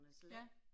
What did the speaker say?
Ja